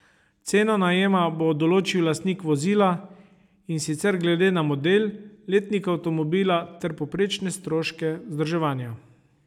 Ceno najema bo določil lastnik vozila, in sicer glede na model, letnik avtomobila ter povprečne stroške vzdrževanja.